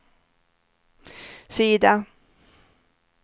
sida